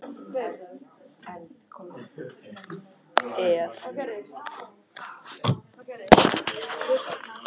Það hefði og talsverð áhrif á tekjuskiptingu innan þjóðfélagsins ef tekjuskattur einstaklinga yrði felldur niður.